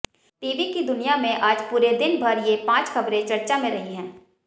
TV की दुनिया में आज पूरे दिन भर ये पांच खबरें चर्चा में रही हैं